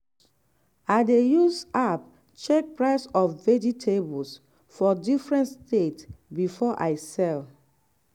i dey use app check price of vegetables for different state before i sell.